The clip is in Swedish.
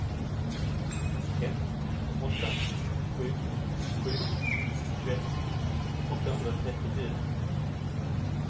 ett åtta sju sju tjugoett åttahundratrettiofyra